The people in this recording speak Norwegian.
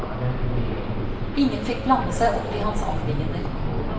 Ingen fikk blande seg opp i hans anliggender.